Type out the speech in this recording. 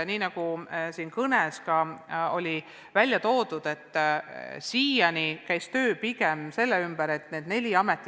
Nagu ma oma kõnes ütlesin, siiani käis töö pigem selle ümber, et need neli ametit kokku viia.